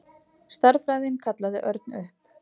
Stærðfræðin kallaði Örn upp.